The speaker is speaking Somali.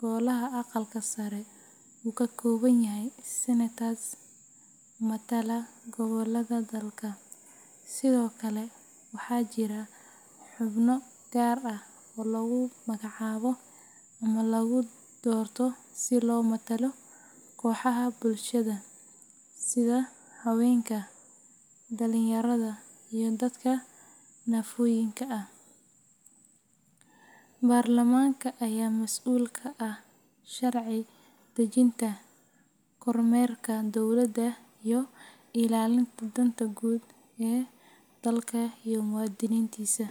Golaha Aqalka Sare uu ka kooban yahay senators matala gobollada dalka. Sidoo kale, waxaa jira xubno gaar ah oo lagu magacaabo ama lagu doorto si loo matalo kooxaha bulshada sida haweenka, dhalinyarada, iyo dadka naafooyinka ah. Baarlamaanka ayaa mas’uul ka ah sharci dejinta, kormeerka dowladda, iyo ilaalinta danta guud ee dalka iyo muwaadiniintiisa.